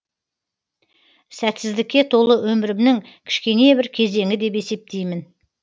сәтсіздікке толы өмірімнің кішкене бір кезеңі деп есептеймін